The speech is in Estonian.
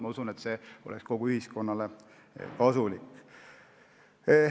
Ma usun, et see oleks kogu ühiskonnale kasulik.